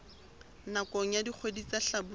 nakong ya dikgwedi tsa hlabula